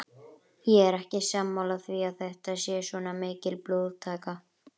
Ég er ekki sammála því að þetta sé svona mikil blóðtaka.